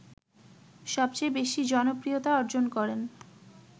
সবচেয়ে বেশী জনপ্রিয়তা অর্জন করেন